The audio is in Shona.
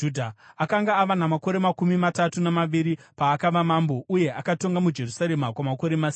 Akanga ava namakore makumi matatu namaviri paakava mambo, uye akatonga muJerusarema kwamakore masere.